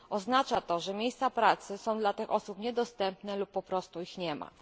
Oznacza to, że miejsca pracy są dla tych osób niedostępne lub po prostu ich nie ma.